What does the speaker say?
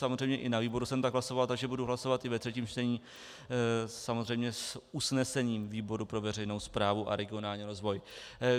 Samozřejmě i na výboru jsem tak hlasoval, takže budu hlasovat i ve třetím čtení samozřejmě s usnesením výboru pro veřejnou správu a regionální rozvoj.